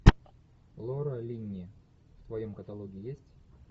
лора линни в твоем каталоге есть